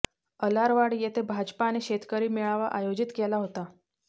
अलारवाड येथे भाजपाने शेतकरी मेळावा आयोजित केला होता